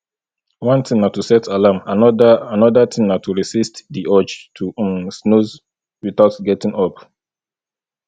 one thing na to set alarm anoda anoda thing na to resist di urge to um snooze without getting up